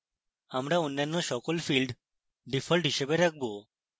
আমরা অন্যান্য সকল fields ডিফল্ট হিসাবে রাখবো